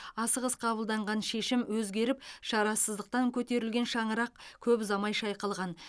асығыс қабылданған шешім өзгеріп шарасыздықтан көтерілген шаңырақ көп ұзамай шайқалған